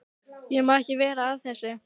Ég má ekki vera að þessu.